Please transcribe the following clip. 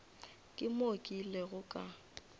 ke moo ke ilego ka